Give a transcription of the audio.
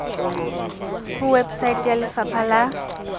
ho website ya lefapa la